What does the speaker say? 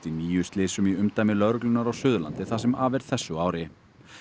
í níu slysum í umdæmi lögreglunnar á Suðurlandi það sem af er þessu ári